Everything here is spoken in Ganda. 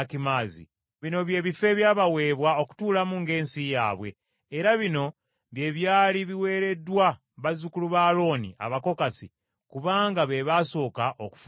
Bino by’ebifo ebyabaweebwa okutuulamu ng’ensi yaabwe era bino bye byali biweereddwa bazzukulu ba Alooni Abakokasi, kubanga be baasooka okufuna omugabo.